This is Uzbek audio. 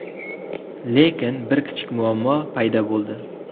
Lekin bir kichik muammo paydo bo‘ldi.